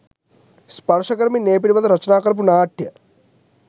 ස්පර්ශ කරමින් ඒ පිළිබඳ රචනා කරපු නාට්‍ය